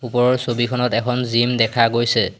ওপৰৰ ছবিখনত এখন জিম দেখা গৈছে।